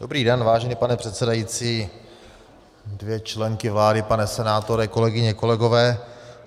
Dobrý den, vážený pane předsedající, dvě členky vlády, pane senátore, kolegyně, kolegové.